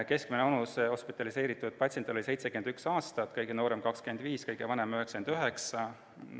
Hospitaliseeritud patsiendi keskmine vanus oli 71 aastat, kõige noorem oli 25, kõige vanem 99.